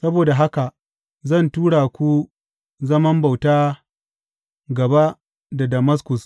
Saboda haka zan tura ku zaman bauta gaba da Damaskus,